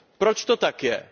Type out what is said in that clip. Proč to tak je?